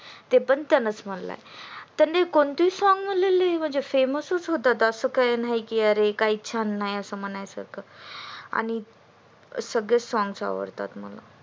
ते पण छानच म्हणलाय त्यांनी कोणते पण song म्हणले की famous च होतात आस काही नाही की अरे छान नाही आस म्हणायच आणि सगळेच songs आवडतात मला